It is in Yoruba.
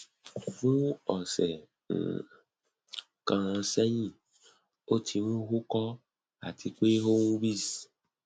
fun ọsẹ um kan sẹhin o ti n uko ati pe oun wheeze